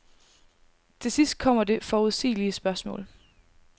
Til sidst kommer det forudsigelige spørgsmål.